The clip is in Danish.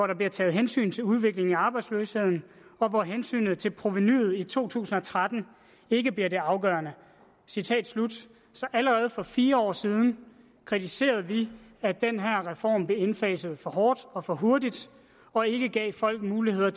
der bliver taget hensyn til udviklingen i arbejdsløsheden og hvor hensynet til provenuet to tusind og tretten ikke bliver det afgørende så allerede for fire år siden kritiserede vi at den her reform blev indfaset for hårdt og for hurtigt og ikke gav folk mulighed